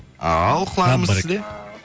ал құлағымыз сізде